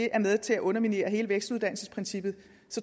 er med til at underminere hele vekseluddannelsesprincippet